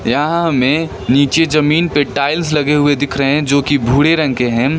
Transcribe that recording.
यहां में नीचे जमीन पर टाइल्स लगे हुए दिख रहे हैं जो की भूरे रंग के हैं।